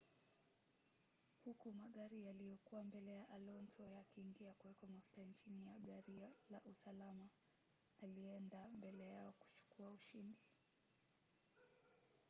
huku magari yaliyokuwa mbele ya alonso yakiingia kuwekwa mafuta chini ya gari la usalama alienda mbele yao kuchukua ushindi